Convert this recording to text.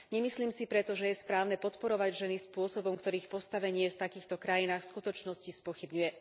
Nemyslím si preto, že je správne podporovať ženy spôsobom, ktorý ich postavenie v takýchto krajinách v skutočnosti spochybňuje.